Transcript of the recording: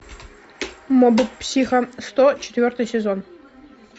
моб психо сто четвертый сезон